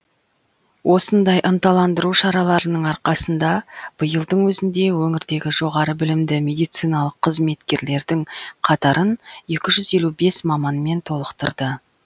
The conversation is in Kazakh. осындай ынталандыру шараларының арқасында биылдың өзінде өңірдегі жоғары білімді медициналық қызметкерлердің қатарын екі жүз елу бес маманмен толықтырды